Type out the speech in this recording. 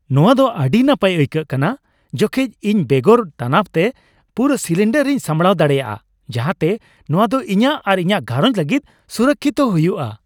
ᱱᱚᱶᱟ ᱫᱚ ᱟᱹᱰᱤ ᱱᱟᱯᱟᱭ ᱟᱹᱭᱠᱟᱹᱣ ᱠᱟᱱᱟ ᱡᱚᱠᱷᱮᱡ ᱤᱧ ᱵᱮᱜᱚᱨ ᱛᱟᱱᱟᱵ ᱛᱮ ᱯᱩᱨᱟᱹ ᱥᱤᱞᱤᱱᱰᱟᱨ ᱤᱧ ᱥᱟᱢᱲᱟᱣ ᱫᱟᱲᱮᱭᱟᱜᱼᱟ, ᱡᱟᱦᱟᱸᱛᱮ ᱱᱚᱶᱟ ᱫᱚ ᱤᱧᱟᱹᱜ ᱟᱨ ᱤᱧᱟᱹᱜ ᱜᱷᱟᱸᱨᱚᱧᱡ ᱞᱟᱹᱜᱤᱫ ᱥᱩᱨᱚᱠᱥᱤᱛ ᱦᱩᱭᱩᱜᱼᱟ ᱾